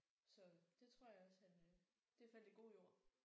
Så det tror jeg også han øh. Det faldt i god jord